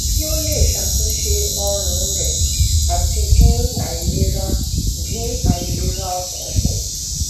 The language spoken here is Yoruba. kí ó lè ṣàtúnṣe oorun rẹ àti dín àìlera dín àìlera ọkàn kù